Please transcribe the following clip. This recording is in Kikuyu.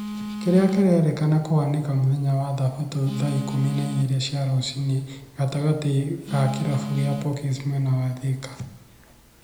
kĩrĩa kĩrerĩkana kuhanĩka mũthenya wa thabatũ thaa ikũmi na igĩrĩ cia rũcini gatagatĩ ga kĩrabu kĩa pokies mwena wa Thĩka